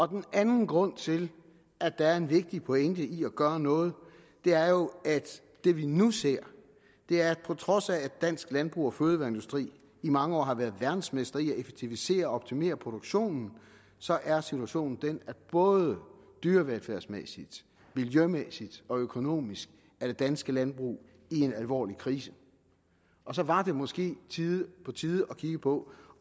den anden grund til at der er en vigtig pointe i at gøre noget er jo at det vi nu ser er at på trods af at dansk landbrug og fødevareindustri i mange år har været verdensmestre i at effektivisere og optimere produktionen så er situationen den at både dyrevelfærdsmæssigt miljømæssigt og økonomisk er det danske landbrug i en alvorlig krise og så var det måske på tide at kigge på